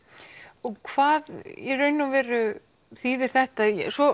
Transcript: og hvað í raun og veru þýðir þetta svo